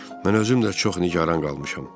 Mən özüm də çox nigaran qalmışam.